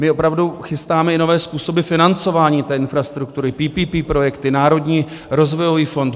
My opravdu chystáme i nové způsoby financování té infrastruktury - PPP projekty, Národní rozvojový fond.